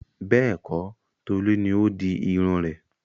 Bẹ́ẹ̀kọ̀, Tolu ni ó di irun rẹ̀.